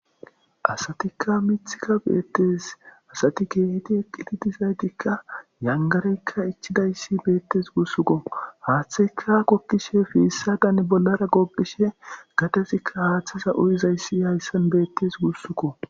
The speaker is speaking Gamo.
asatikka mithika beettes asati keehiti eqqitidizaytikka yangareykka ichidayssi beettes gussukko haaththikka kokkishe fiissa dan bollara goqishe gatezikka haaththiza uyizayssi hayssan beettes gussukko